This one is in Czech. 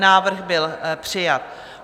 Návrh byl přijat.